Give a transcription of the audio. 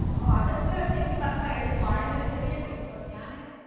ഓ അതൊക്കെ ശെരിക്കും പറഞ്ഞ എളുപ്പവാണ് അതിനൊരു ചെറിയ Trick ഒണ്ട് ഞാന്